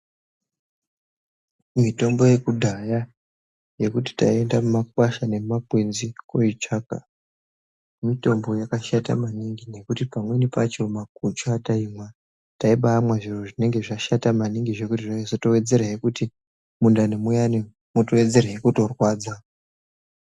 Mitombo yekudhaya yekuti taienda mumakwasha nemumakwenzi koitsvaka mitombo yakashata maningi ngekuti pamweni pacho makuchu ataimwa taibamwa zviro zvinonge zvashata maningi zvekuti mundani muyani mwaizotowedzera kutorwadza.